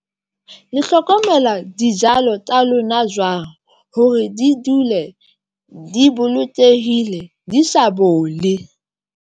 Hlokomela dijalo tsa lona jwang hore di dule di bolokehile, di sa bole.